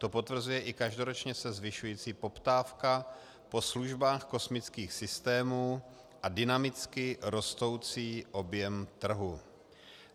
To potvrzuje i každoročně se zvyšující poptávka po službách kosmických systémů a dynamicky rostoucí objem trhu.